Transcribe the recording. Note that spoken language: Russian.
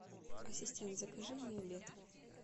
ассистент закажи мне обед